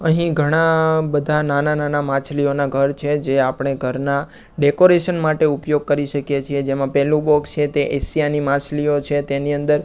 અહીં ઘણા બધા નાના નાના માછલીઓના ઘર છે જે આપણે ઘરના ડેકોરેશન માટે ઉપયોગ કરી શકીએ છીએ જેમા પેલુ બોક્સ છે તે એશિયા ની માછલીઓ છે તેની અંદર--